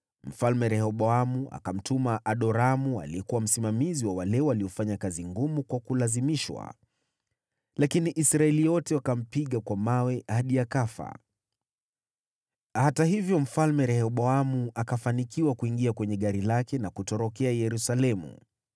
Mfalme Rehoboamu akamtuma Adoramu, aliyekuwa msimamizi wa wale waliofanya kazi ngumu kwa kulazimishwa, lakini Israeli wote wakampiga kwa mawe hadi akafa. Hata hivyo, Mfalme Rehoboamu, akafanikiwa kuingia kwenye gari lake na kutorokea Yerusalemu.